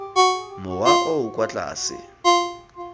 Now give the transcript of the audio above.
mowa o o kwa tlase